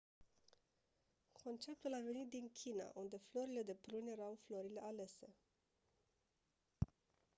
conceptul a venit din china unde florile de prun era florile alese